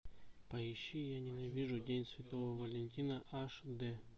поищи я ненавижу день святого валентина аш дэ